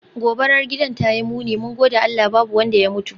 Gobarar gidan tayi muni, mun gode Allah babu wanda ya mutu.